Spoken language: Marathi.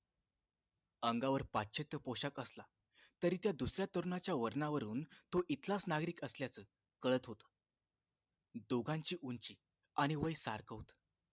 अंगावर पाश्चात्य पोशाख असला तरी त्या दुसऱ्या तरुणाच्या वर्णावरून तो इथलाच नागरिक असल्याचे कळत होत दोघांची उंची आणि वय सारखं होत